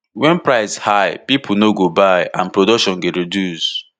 wen price high pipo no go buy and production go reduce